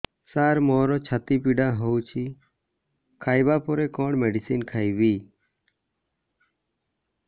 ସାର ମୋର ଛାତି ପୀଡା ହଉଚି ଖାଇବା ପରେ କଣ ମେଡିସିନ ଖାଇବି